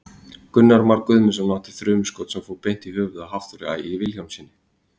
Gunnar Már Guðmundsson átti þrumuskot sem fór beint í höfuðið á Hafþóri Ægi Vilhjálmssyni.